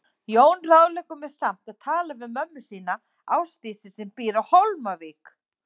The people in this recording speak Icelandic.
Jón ráðleggur mér samt að tala við mömmu sína, Ásdísi, sem býr á Hólmavík.